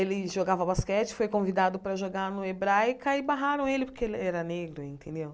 Ele jogava basquete, foi convidado para jogar no Hebraica e barraram ele porque ele era negro, entendeu?